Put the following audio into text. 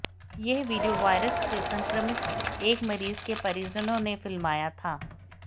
यह video virus से संक्रमित एक मरीज के परिजनों ने फिल्माया था